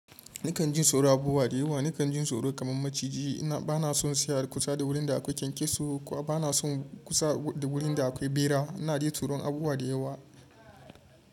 Nakan jin tsoron abubuwa da yawa. Nakan jin tsoro kaman maciji. Bana son tsaya kusa da wurin da akwai kyankyaso, kuma bana son kusa da wurin da akwai bera. Na ji tsoron abubuwa da yawa.